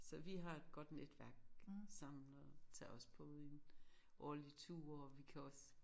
Så vi har et godt netværk sammen og tager også på en årlig tur og vi kan også